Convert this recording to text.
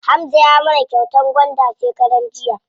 Hamza ya mana kyautar gwanda shekaran jiya.